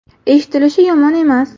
Eshitilishi yomon emas.